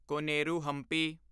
Koneru Hampi